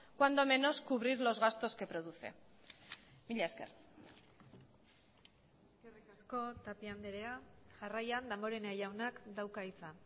cuando menos cubrir los gastos que produce mila esker eskerrik asko tapia andrea jarraian damborenea jaunak dauka hitza